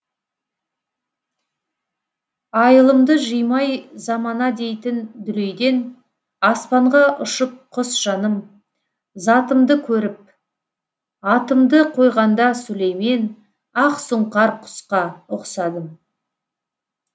айылымды жыймай замана дейтін дүлейден аспанға ұшып құс жаным затымды көріп атымды қойғанда сүлеймен ақсұңқар құсқа ұқсадым